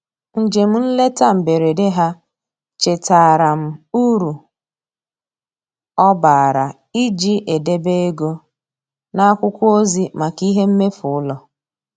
Njem nleta mberede ha chetaara m uru ọ bara iji edebe ego n'akwụkwọ ozi maka ihe mmefu ụlọ.